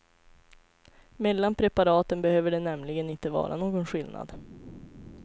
Mellan preparaten behöver det nämligen inte vara någon skillnad.